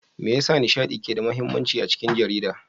Me yasa nishaɗi ke da mahimmanci a aikin jarida?